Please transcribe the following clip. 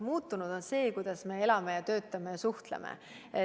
Muutunud on see, kuidas me elame, töötame ja suhtleme.